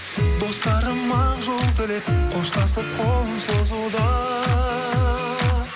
достарым ақ жол тілеп қоштасып қолын созуда